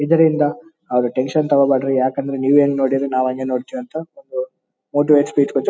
ಇದರಿಂದ ಯಾರು ಟೆಂಕ್ಷನ್ ತಗೋಬೇಡ್ರಿ ನೀವೇ ಹೆಂಗೆ ನೋಡ್ಕೊಂಡಿದಿರ ನಾವು ಹಂಗೆ ನೋಡ್ಕೋತೀವಿ ಅಂತ ಮೋಟಿವೇಟ್ ಸ್ಪೀಚ್ ಕೊಟ್ಟು--